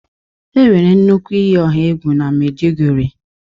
enwere nnukwu iyi ọha egwu na Maiduguri.